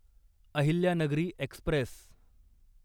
Ahilyanagari Express